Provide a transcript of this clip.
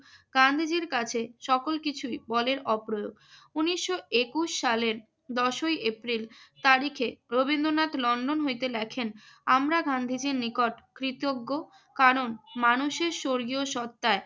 গান্ধীজীর কাছে সকল কিছুই বলের অপ্রয়োগ। উনিশশো একুশ সালের দশই এপ্রিল তারিখে রবীন্দ্রনাথ লন্ডন হইতে লেখেন আমরা গান্ধীজীর নিকট কৃতজ্ঞ কারণ মানুষের স্বর্গীয় সত্তায়